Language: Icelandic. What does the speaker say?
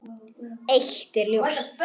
Eitt er ljóst.